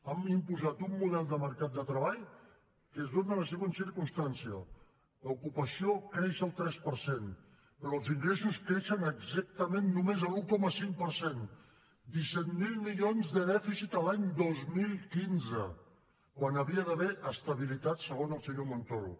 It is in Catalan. han imposat un model de mercat de treball que es dóna la següent circumstància l’ocupació creix el tres per cent però els ingressos creixen exactament només l’un coma cinc per cent disset mil milions de dèficit l’any dos mil quinze quan hi hauria d’haver estabilitat segons el senyor montoro